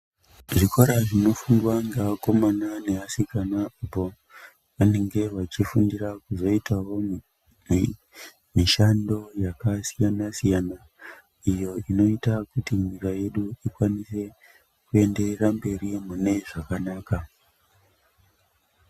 Zvikora zvino fundwa nge akomana ne asikana apo pavanenge vachi fundira kuzoitawo mushando yaka siyana siyana iyo inoita kuti nyika yedu ikwanise ku enderera mberi mune zvakanaka.